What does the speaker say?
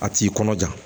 A t'i kɔnɔja